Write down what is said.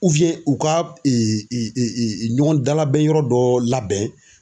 u ka ɲɔgɔn dalabɛn yɔrɔ dɔ labɛn.